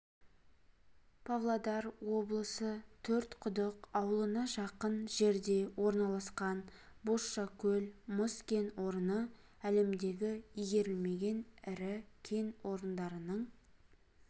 павлодар облысы төрт-құдық ауылына жақын жерде орналасқан бозшакөл мыс кен орны әлемдегі игерілмеген ірі кен орындарының